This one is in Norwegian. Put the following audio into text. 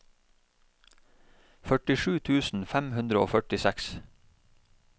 førtisju tusen fem hundre og førtiseks